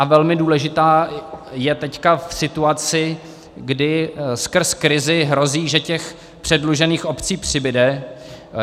A velmi důležitá je teď v situaci, kdy skrz krizi hrozí, že těch předlužených obcí přibude.